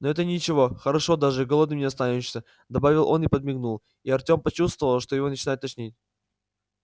но это ничего хорошо даже голодным не останешься добавил он и подмигнул и артем почувствовал что его начинает тошнить